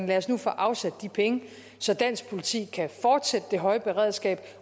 lad os nu få afsat de penge så dansk politi kan fortsætte det høje beredskab